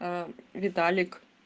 виталик